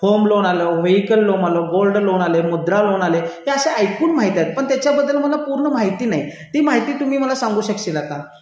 home loan आलं vehicle loan आलं gold loan आलं मुद्रा लोन आले हे असे ऐकून माहिती आहे पण याच्याबद्दल मला पूर्ण माहिती नाही ती माहिती तुम्ही मला सांगू शकाल का